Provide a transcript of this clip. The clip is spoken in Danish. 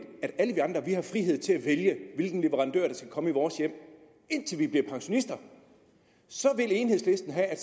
at alle vi andre har frihed til at vælge hvilken leverandør der skal komme i vores hjem indtil vi bliver pensionister så vil enhedslisten have at